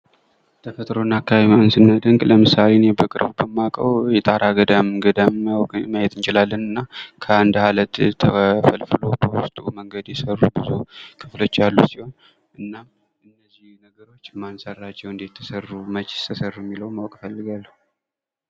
ተፈጥሮና አካባቢ ስናደንቅ ለምሳሌ እኔ በቅርቡ በአካባቢ በማውቀው የጣና ገዳምን ማየት እንችላለን እና ከአንድ ዓለት ተፈልፍሎ በውስጡ መንገድ የሰሩ ብዙ ክፍሎች ያሉት ሲሆን እና እነዚህ ነገሮች እንዴት ተሰሩ? ማን ሰራቸው? መቼ ተሰሩ? የሚለውን ማወቅ እፈልጋለሁ።